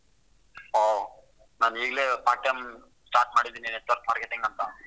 ಹೊ ನಾನೂ ಈಗ್ಲೇ part time start ಮಾಡಿದಿನೀ, network marketing ಅಂತಾ.